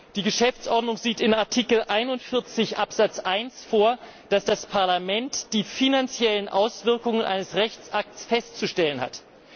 Die Geschäftsordnung sieht in Artikel 41 Absatz 1 vor, dass das Parlament die finanziellen Auswirkungen eines Rechtsakts festzustellen hat.